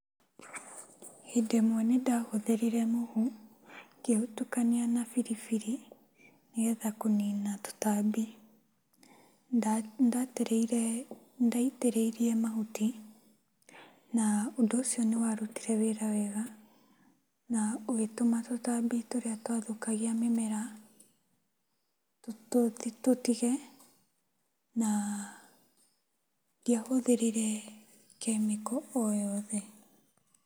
Hĩndĩ ĩmwe nĩndahũthĩrire mũhu, ngĩũtukania na biribiri nĩgetha kũnina tũtambi. Ndaitĩrĩire, ndaitĩrĩirie mahuti na ũndũ ũcio n'ĩwarutire wĩra wega na ũgĩtũma tũtambi tũrĩa twathũkagia mĩmera tũtige na ndiahũthĩrire chemical o yothe.